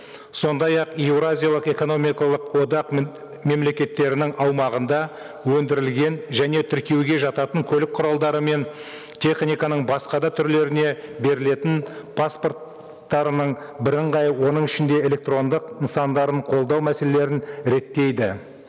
сондай ақ еуразиялық экономикалық одақ мемлекеттерінің аумағында өндірілген және тіркеуге жататын көлік құралдары мен техниканың басқа да түрлеріне берілетін паспорттарының бірыңғай оның ішінде электрондық нысандарын қолдау мәселелерін реттейді